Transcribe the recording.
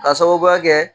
K'a sababuya kɛ